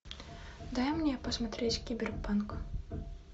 дай мне посмотреть киберпанк